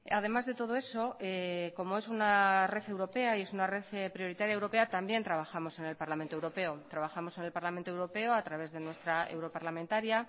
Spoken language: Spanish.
además de todo eso como es una red europea y es una red prioritaria europea también trabajamos en el parlamento europeo trabajamos en el parlamento europeo a través de nuestra europarlamentaria